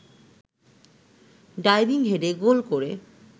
diving হেডে goal করে